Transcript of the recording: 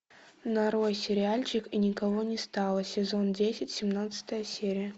нарой сериальчик и никого не стало сезон десять семнадцатая серия